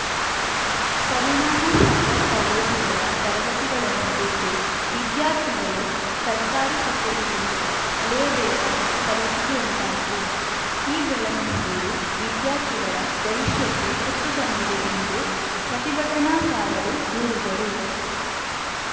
ಪರಿಣಾಮ ಶಾಲಾಕಾಲೇಜುಗಳ ತರಗತಿಗಳನ್ನು ಬಿಟ್ಟು ವಿದ್ಯಾರ್ಥಿಗಳು ಸರ್ಕಾರಿ ಕಚೇರಿಗಳಿಗೆ ಅಲೆಯಬೇಕಾದ ಪರಿಸ್ಥಿತಿ ಉಂಟಾಗಿದೆ ಈಬೆಳವಣಿಗೆಯು ವಿದ್ಯಾರ್ಥಿಗಳ ಭವಿಷ್ಯಕ್ಕೆ ಕುತ್ತು ತಂದಿದೆ ಎಂದು ಪ್ರತಿಭಟನಾಕಾರರು ದೂರಿದರು